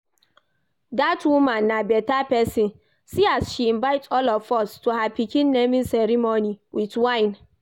Dat woman na beta person see as she invite all of us to her pikin naming ceremony with wine